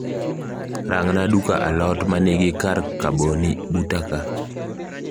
Rangna duka alot manigi kar kaboni buta kaa